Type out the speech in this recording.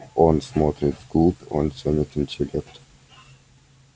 он смотрит вглубь он ценит интеллект